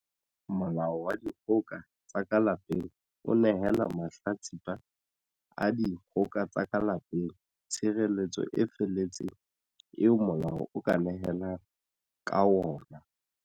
Molao wa Dikgoka tsa ka Lapeng o nehela mahla tsipa a dikgoka tsa ka lape ng tshireletso e feletseng eo molao o ka nehelang ka yona.